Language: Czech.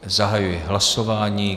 Zahajuji hlasování.